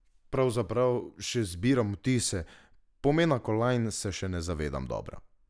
Pravzaprav še zbiram vtise, pomena kolajn se še ne zavedam dobro.